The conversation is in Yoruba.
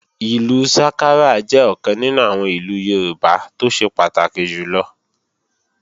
Ìlú sákárà jẹ́ ọ̀kan nínú àwọn ìlù Yorùbá tó ṣe pàtàkì jùlọ